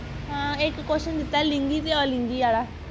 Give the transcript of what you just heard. ਹਾਂ ਇੱਕ question ਦਿੱਤਾ ਲਿੰਗੀ ਤੇ ਅਲਿੰਗੀ ਵਾਲਾ